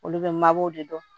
Olu bɛ mabɔw de dɔn